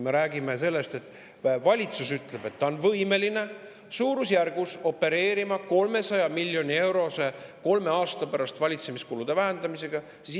Me räägime sellest, et valitsus ütleb, et ta on võimeline suurusjärgus 300 miljonit eurot vähendama valitsemiskulusid kolme aasta pärast.